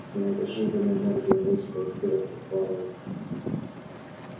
с неожиданной энергией он выставил вперёд подбородок